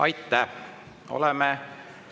Aitäh!